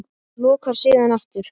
Lokar síðan aftur.